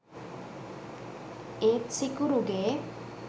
ඒත් සිකුරුගේ